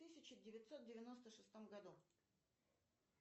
тысяча девятьсот девяносто шестом году